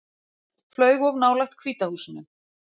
Flaug of nálægt Hvíta húsinu